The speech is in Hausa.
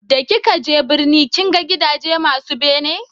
da ki ka je birni kin ga gidaje masu bene?